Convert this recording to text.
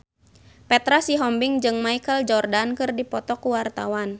Petra Sihombing jeung Michael Jordan keur dipoto ku wartawan